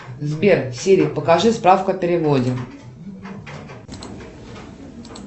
сбер сири покажи справку о переводе